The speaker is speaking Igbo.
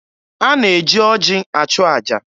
A na-eji oji achụ aja.